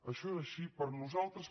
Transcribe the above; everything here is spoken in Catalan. això és així per a nosaltres